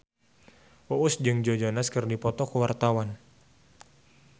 Uus jeung Joe Jonas keur dipoto ku wartawan